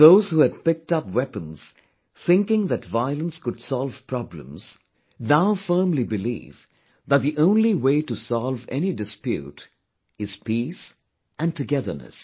Those who had picked up weapons thinking that violence could solve problems, now firmly believe that the only way to solve any dispute is peace and togetherness